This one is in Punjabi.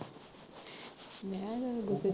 ਮੈਂ ਕਿਹਾ ਜਦ ਗੁੱਸੇ ਚ